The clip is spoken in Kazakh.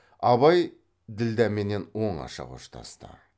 абай ділдәменен оңаша қоштасты